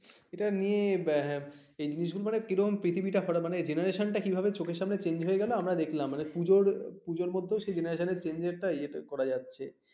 এটা নিয়ে মানে আহ এই জিনিসগুলো মানে কীরকম পৃথিবীটা ঘোরে মানে generation টা কীভাবে চোখের সামনে change হয়ে গেলো আমরা দেখলাম মানে পূজোর পূজোর মধ্যেও সেই generation এর change টা সেটা ইয়ে করা যাচ্ছে